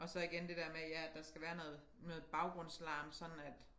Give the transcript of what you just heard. Og så igen det der med ja der skal være noget noget baggrundslarm sådan at